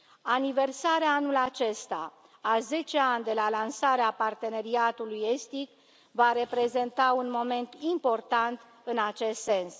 Aniversarea, anul acesta, a zece ani de la lansarea Parteneriatului estic va reprezenta un moment important în acest sens.